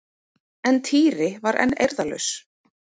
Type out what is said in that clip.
En Týri var enn eirðarlaus.